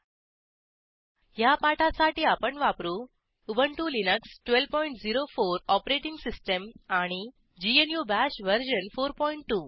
httpwwwspoken tutorialओआरजी ह्या पाठासाठी आपण वापरू उबंटु लिनक्स 1204 ओएस आणि ग्नू बाश वर्जन 42